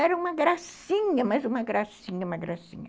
Era uma gracinha, mas uma gracinha, uma gracinha.